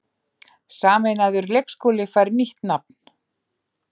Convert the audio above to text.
Sameinaður leikskóli fær nýtt nafn